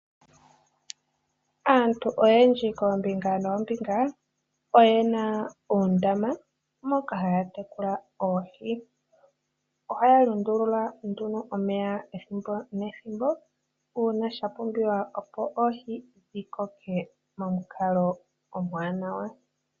Aantu oyendji kombinga noombinga oyena oondama dhoku tekula oohi. Omeya gomoondama ohaga lundululwa ethimbo nethimbo uuna sha pumbiwa opo oohi dhikoke momukalo omwaanawa.